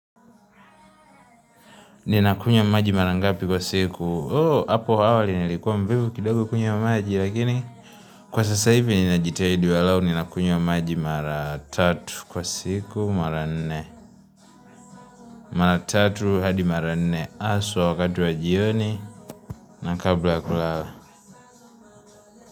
Ninakunywa maji mara ngapi kwa siku. Oh! Hapo awali nilikuwa mvivu kidogo kunywa maji. Lakini, kwa sasa hivi ninajitahidi walau. Ninakunywa maji mara tatu kwa siku mara nne. Mara tatu hadi mara nne. Haswa wakati wa jioni. Na kabla ya kulala.